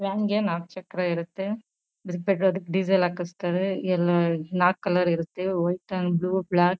van ಗೆ ನಾಕ್ ಚಕ್ರ ಇರುತ್ತೆ ಅದ್ಕೆ ಡೀಸೆಲ್ ಹಾಕಸ್ತಾರೆ ನಾಲ್ಕ್ ಕಲರ್ ಇರುತ್ತೆ ವೈಟ್ ಅಂಡ್ ಬ್ಲೂ ಬ್ಲಾಕ್ ---